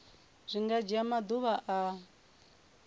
zwi nga dzhia maḓuvha a